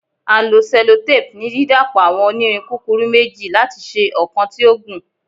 A lo sellotape ni didapọ awọn onirin kukuru meji lati ṣe ọkan ti o gun